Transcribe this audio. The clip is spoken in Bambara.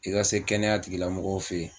I ka se kɛnɛya tigila mɔgɔw fɛ yen.